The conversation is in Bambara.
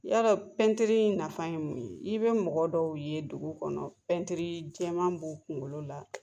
Yala in nafa ye mun ye? i bɛ mɔgɔ dɔw ye dugu kɔnɔ jɛman b'o kunkolo la.